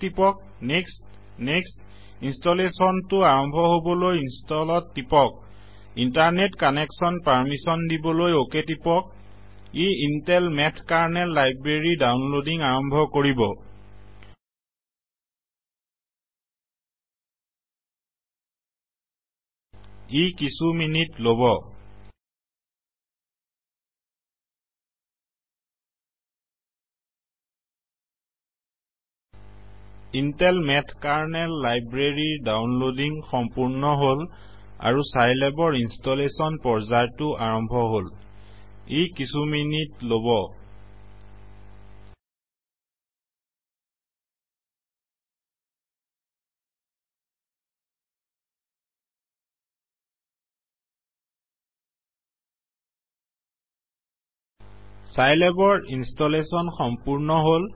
টিপক next next ইনষ্টলেচনটো আৰম্ভ হবলৈ Installইনষ্টলত টিপক ইন্টাৰনেট কানেকচন পাৰ্মিচন দিবলৈ অক টিপক ই ইন্তেল মেথ কাৰনেল লাইব্ৰেৰীৰ দাউনলদিং আৰম্ভ কৰিব ই কিছু মিনিট লব ইন্তেল মেথ কাৰনেল লাইব্ৰেৰীৰ দাউনলদিং সম্পূৰ্ন হল আৰু চাইলেবৰ ইনষ্টলেচন পৰ্যায়টো আৰম্ভ হল ই কিছু মিনিটলব চাইলেবৰ ইনষ্টলেচন সম্পূৰ্ন হল